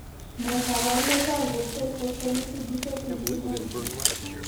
Ne kaabarunetap Red cell phospholipid defect with hemolysis?